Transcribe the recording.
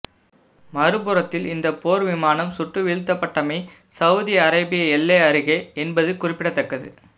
மறுபுறத்தில் இந்த போர் விமானம் சுட்டுவிழுத்தப்பட்டமை சௌதி அரேபிய எல்லை அருகே என்பது குறிப்பிடத்தக்கது